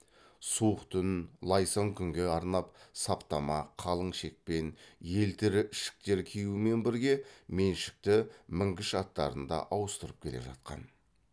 суық түн лайсаң күнге арнап саптама қалың шекпен елтірі ішіктер киюмен бірге меншікті мінгіш аттарын да ауыстырып келе жатқан